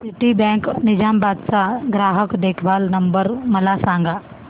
Citibank Nizamabad चा ग्राहक देखभाल नंबर मला सांगा